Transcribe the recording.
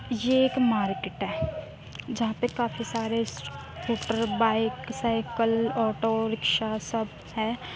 ये एक मार्केट है जहाँ पे काफी सारे स स्कूटर बाइक साइकिल ऑटोरिक्शा सब हैं।